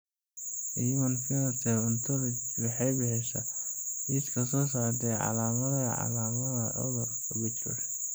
The Human Phenotype Ontology waxay bixisaa liiska soo socda ee calaamadaha iyo calaamadaha cudurka Behcet.